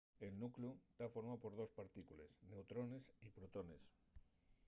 el nucleu ta formáu por dos partícules – neutrones y protones